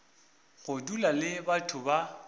go dula le batho ba